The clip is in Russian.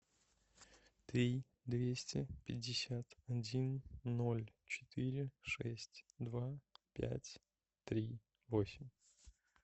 три двести пятьдесят один ноль четыре шесть два пять три восемь